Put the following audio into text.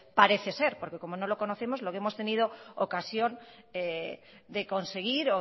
parece ser porque como no lo conocemos lo que hemos tenido ocasión de conseguir